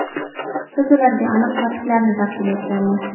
Biz ularga aniq faktlarni taqdim etganmiz.